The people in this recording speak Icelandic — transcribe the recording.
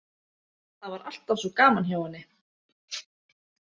Það var alltaf svo gaman hjá henni.